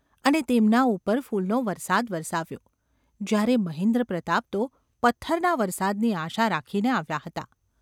અને તેમના ઉપર ફૂલનો વરસાદ વરસાવ્યો : જ્યારે મહેન્દ્રપ્રતાપ તો પથ્થરના વરસાદની આશા રાખીને આવ્યા હતા.